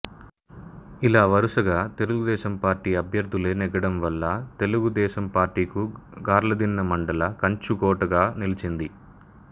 ఇలా వరుసగా తెదేపా అభ్యర్థులే నెగ్గడం వల్ల తెదేపాకు గార్లదిన్నె మండల కంచుకోటగా నిలిచింది